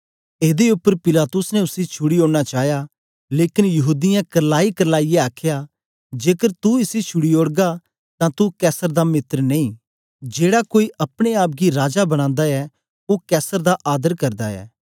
एदे उपर पिलातुस ने उसी छुड़ी ओड़ना चाया लेकन यहूदीयें करलाईकरलाईयै आखया जेकर तू इसी छुड़ी ओड़गा तां तू कैसर दा मित्र नेई जेड़ा कोई अपने आप गी राजा बनांदा ऐ ओ कैसर दा आदर करदा ऐ